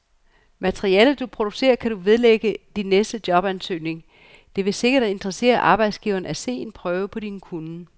Materialet, du producerer, kan du vedlægge din næste jobansøgning, det vil sikkert interessere arbejdsgiveren at se en prøve på din kunnen.